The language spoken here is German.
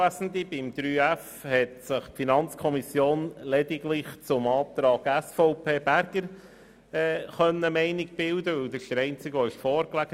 Was den Punkt 3.f betrifft, hat sich die FiKo lediglich zur Planungserklärung der SVP eine Meinung bilden können, denn diese lag als einzige vor.